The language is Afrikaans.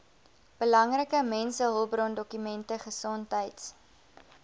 belangrike mensehulpbrondokumente gesondheids